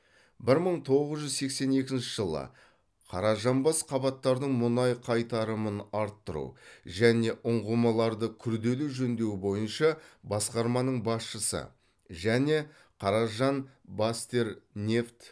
бір мың тоғыз жүз сексен екінші жылы қаражанбас қабаттардың мұнай қайтарымын арттыру және ұңғымаларды күрделі жөндеу бойынша басқарманың басшысы және каражанбастермнефть